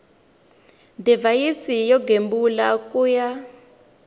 divhayisi yo gembula ku ya